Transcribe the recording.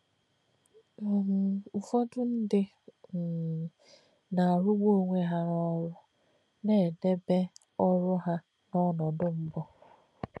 um Ụ́fọ̀dù̄ ndí̄ um nā̄-àrụ́gbù̄ ọ̀nwé̄ hà̄ n’ọ́rụ́, nā̄-èdèbè̄ ọ́rụ́ hà̄ n’ọnòdò̄ mbù̄.